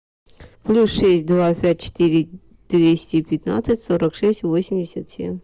плюс шесть два пять четыре двести пятнадцать сорок шесть восемьдесят семь